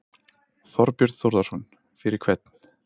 Þorbjörn Þórðarson: Fyrir hvern?